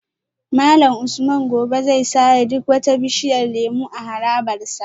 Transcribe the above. Malam Usman gobe zai sare duk wata bishiyar lemu a harabar sa